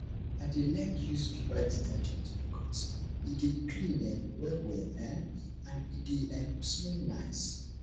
i dey like use viva detergent bikos e dey clean um well well um and e dey um smell nice